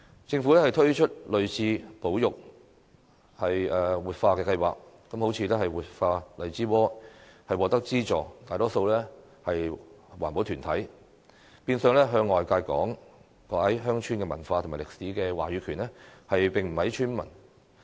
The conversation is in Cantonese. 政府推出類似的保育、活化計劃，例如活化荔枝窩，獲得資助的大多數是環保團體，變相向外界講解鄉村文化和歷史的話語權便不屬於村民。